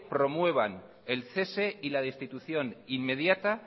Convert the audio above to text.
promuevan el cese y la destitución inmediata